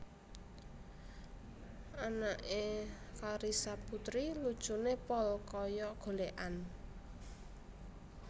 Anak e Carissa Puteri lucune pol koyok golekan